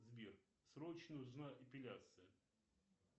сбер срочно нужна эпиляция